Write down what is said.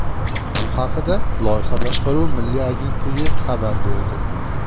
Bu haqda Loyiha boshqaruvi milliy agentligi xabar berdi .